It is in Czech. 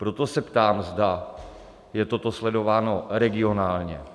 Proto se ptám, zda je toto sledováno regionálně?